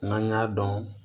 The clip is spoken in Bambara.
N'an y'a dɔn